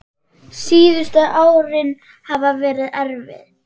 Síðustu árin hafa verið erfið.